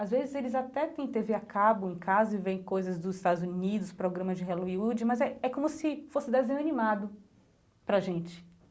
Às vezes eles até tem Tê Vê a cabo em casa e veem coisas dos Estados Unidos, programa de Hollywood, mas é é como se fosse desenho animado para a gente.